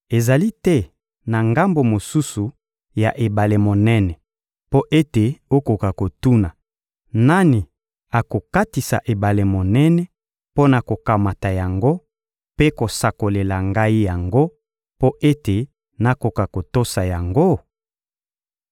Ezali te na ngambo mosusu ya ebale monene mpo ete okoka kotuna: «Nani akokatisa ebale monene mpo na kokamata yango mpe kosakolela ngai yango, mpo ete nakoka kotosa yango?»